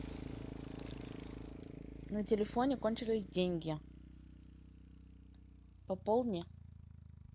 на телефоне кончились деньги пополни